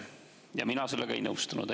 Ja mina sellega ei nõustunud.